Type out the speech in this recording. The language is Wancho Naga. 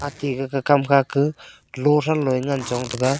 ate gagakham khaka lothran loye ngan chong taga.